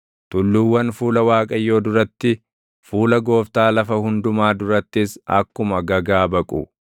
Tulluuwwan fuula Waaqayyoo duratti, fuula Gooftaa lafa hundumaa durattis akkuma gagaa baqu.